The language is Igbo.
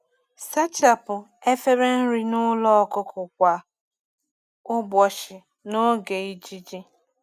Sachapụ efere nri n'ụlọ ọkụkọ kwa ụbọchị n’oge ijiji.